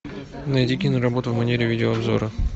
найди киноработу в манере видеообзора